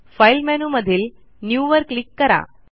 file मेनूमधील new वर click करा